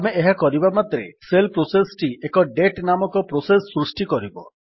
ଆମେ ଏହା କରିବା ମାତ୍ରେ ଶେଲ୍ ପ୍ରୋସେସ୍ ଟି ଏକ ଡେଟ୍ ନାମକ ପ୍ରୋସେସ୍ ସୃଷ୍ଟି କରିବ